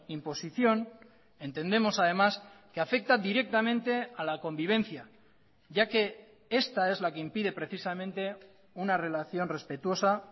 imposición entendemos además que afecta directamente a la convivencia ya que esta es la que impide precisamente una relación respetuosa